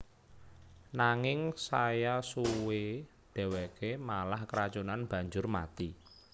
Nanging saya suwe dheweke malah keracunan banjur mati